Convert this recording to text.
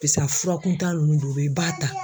a fura kuntan nunnu dɔ bɛ yen i b'a ta.